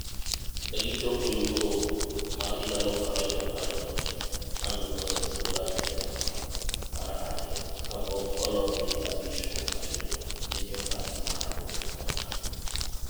Ne gi chopo Euro 2016, magi loyo Ingland e okang; mar ariyo kapok ologi 5-2 gi jokanyo mar robofainol.